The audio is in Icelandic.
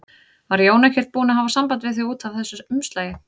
Var Jón ekkert búinn að hafa samband við þig út af þessu umslagi?